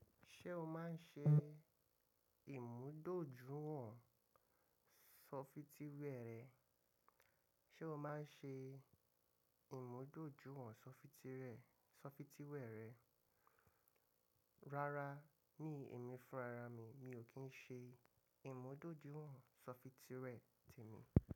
Ṣé o máa ń ṣe ìmúdójúwọ̀n ṣọfitíwẹ́ rẹ? Ṣé o o máa ń ṣe ìmúdójúwọ̀n ṣọfitíwẹ́ rẹ? Rárá mi èmi fúnra ra mi, mi ò kí ń ṣe ìmúdójúwọ̀n ṣọfitíwẹ́ tèmi.